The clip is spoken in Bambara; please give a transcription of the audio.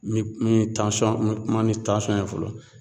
Ni ni ye tansɔn n mi kuma ni tansɔn ye fɔlɔ